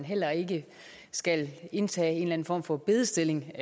heller ikke skal indtage en form for bedestilling